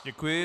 Děkuji.